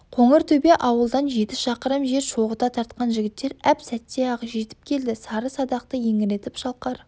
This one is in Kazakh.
қоңыр төбе ауылдан жеті шақырым жер шоғыта тартқан жігіттер әп сәтте-ақ жетіп келді сары садақты еңіретіп шалқар